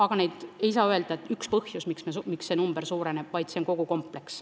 Aga ei saa öelda, et on üks põhjus, miks see arv suureneb, vaid see on kompleks.